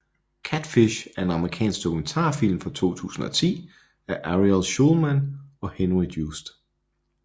Catfish er en amerikansk dokumentarfilm fra 2010 af Ariel Schulman og Henry Joost